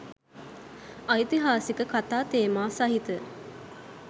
ඓතිහාසික කථා තේමා සහිත